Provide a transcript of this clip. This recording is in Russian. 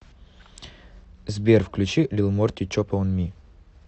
сбер включи лил морти чоппа он ми